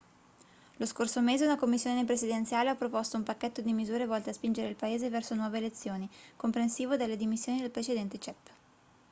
lo scorso mese una commissione presidenziale ha proposto un pacchetto di misure volte a spingere il paese verso nuove elezioni comprensivo delle dimissioni del precedente cep